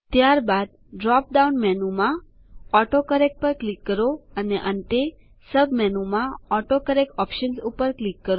ત્યારબાદ ડ્રોપડાઉન મેનુમાં ઓટોકરેક્ટ પર ક્લિક કરો અને છેલ્લે સબ મેનુમાં ઓટોકરેક્ટ ઓપ્શન્સ પર ક્લિક કરો